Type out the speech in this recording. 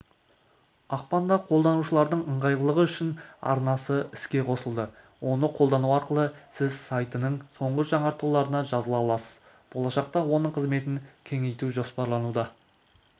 ақпанда қолданушылардың ыңғайлылығы үшін арнасы іске қосылды оны қолдану арқылы сіз сайтының соңғы жаңартуларына жазыла аласыз болашақта оның қызметін кеңейту жоспарлануда